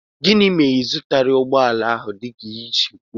Gịnị mere na ịzụtaghi ụgbọala ọhụụ dika i siri kwụọ?